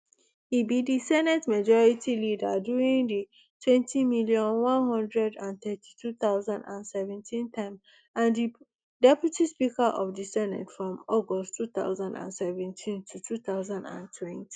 e be di senate majority leader during di twenty million, one hundred and thirty-two thousand and seventeen term and di deputy speaker of di senate from august two thousand and seventeen to two thousand and twenty